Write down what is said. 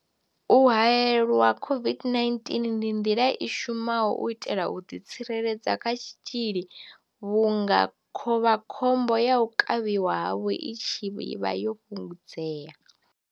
U haelelwa COVID-19 ndi nḓila i shumaho u itela u ḓitsireledza kha tshitzhili vhunga khovha khombo ya u kavhiwa havho i tshi vha yo fhungudzea.